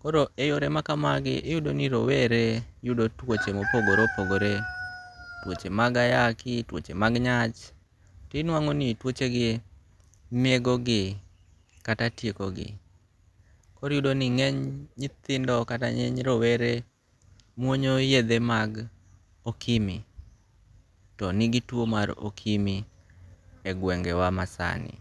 koro e yore makamago iyudo ni rowere yudo tuoche mopogore opogore tuoche mag ayaki, tuoche mag nyach, tinwango' ni twochegie negogi kata tiekogi. Koro iyudo ni nge'ny nyithindo kata nge'ny rowere muonyo yethe mag okimi to nigi two mag okimi e gwenge'wa masani.